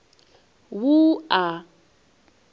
wua